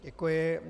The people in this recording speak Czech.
Děkuji.